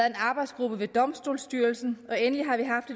en arbejdsgruppe ved domstolsstyrelsen og endelig har vi haft